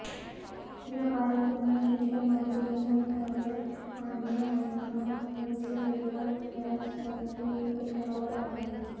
या कार्यक्रमात शिक्षण मंत्री विनोद तावडे आणि एकनाथ खडसे एकाच व्यासपीठावर आले होते